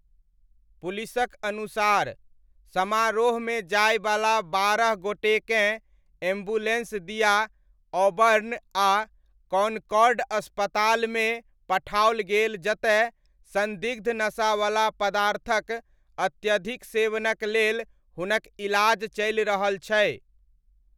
पुलिसक अनुसार, समारोहमे जाइवला बारह गोटेकेँ एम्बुलेन्स दिआ ऑबर्न आ कॉनकॉर्ड अस्पतालमे पठाओल गेल जतय सन्दिग्ध नशावला पदार्थक अत्यधिक सेवनक लेल हुनक इलाज चलि रहल छै।